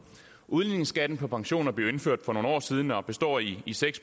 udligningsskatten på pensioner blev indført for nogle år siden og består i seks